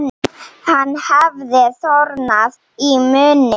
Hann hafði þornað í munni.